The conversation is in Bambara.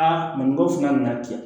Aa nin ko suma nin na ten